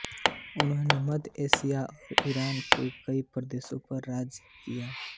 उन्होंने मध्य एशिया और ईरान के कई प्रदेशों पर राज किया